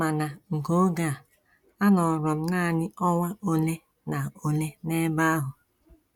Ma na nke oge a, anọrọ m nanị ọnwa ole na ole n’ebe ahụ.